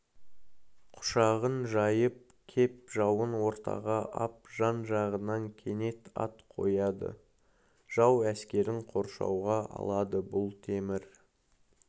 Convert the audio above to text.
құшағын жайып кеп жауын ортаға ап жан-жағынан кенет ат қояды жау әскерін қоршауға алады бұл темір